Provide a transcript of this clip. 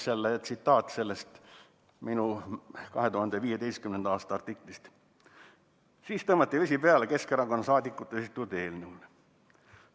Siis tõmmati vesi peale Keskerakonna saadikute esitatud eelnõule.